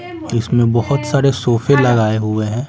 इसमें बहुत सारे सोफे लगाए हुए हैं।